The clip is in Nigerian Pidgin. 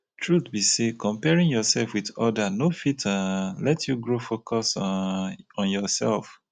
truth be sey comparing yoursef with other no fit um let you grow focus um on yoursef.